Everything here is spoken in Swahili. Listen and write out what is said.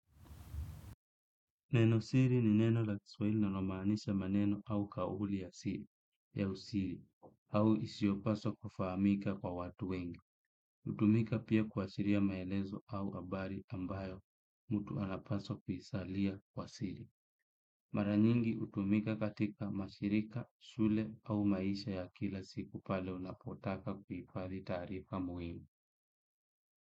Neno siri ni neno la kiswaili linalo maanisha maneno au kauli ya siri, ya usiri, au isiopaswa kufahamika kwa watu wengi. Hutumika pia kuashiria maelezo au habari ambayo mtu anapaswa kuisalia kwa siri. Mara nyingi hutumika katika mashirika, shule au maisha ya kila siku pale unapotaka kuhifadhi taarifa muhimu.